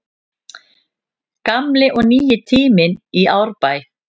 Gamli og nýi tíminn í Árbæ